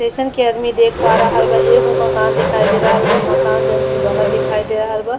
जइसन कि आदमी देख पा रहल बा एगो माकन दिखाई दे रहल बा। माकन जनकी बनत दिखाई दे रहल बा।